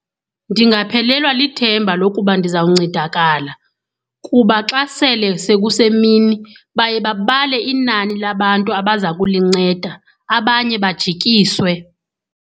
Ndingaphelelwa lithemba lokuba ndizawuncedakala kuba xa sele sekusemini baye babale inani labantu abaza kulinceda, abanye bajikiswe.